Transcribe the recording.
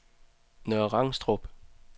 Nørre Rangstrup